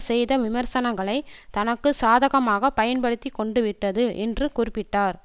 செய்த விமர்சனங்களை தனக்கு சாதகமாக பயன்படுத்தி கொண்டு விட்டது என்று குறிப்பிட்டார்